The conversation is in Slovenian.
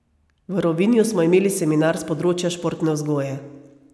V Rovinju smo imeli seminar s področja športne vzgoje.